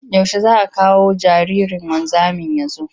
Yaushe za a kawo jaririn wanzamin ya zo?